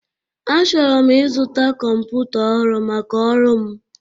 Achọrọ m ịzụta kọmpụta ọhụrụ maka ọrụ m.